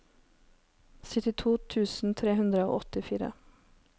syttito tusen tre hundre og åttifire